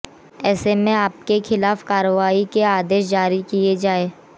ऐसे में आप के खिलाफ कार्रवाई के आदेश जारी किए जाए